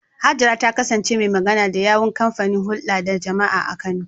Hajara ta kasance mai magana da yawun kamfanin hulda da jama’a a Kano.